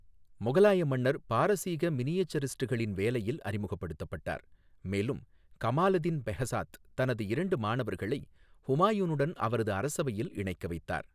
முகலாய மன்னர் பாரசீக மினியேச்சரிஸ்டுகளின் வேலையில் அறிமுகப்படுத்தப்பட்டார், மேலும் கமாலெடின் பெஹ்சாத் தனது இரண்டு மாணவர்களை ஹுமாயூனுடன் அவரது அரசவையில் இணைக்க வைத்தார்.